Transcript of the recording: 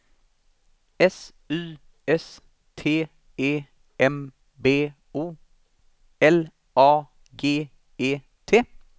S Y S T E M B O L A G E T